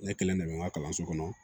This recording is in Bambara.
Ne kelen de bɛ n ka kalanso kɔnɔ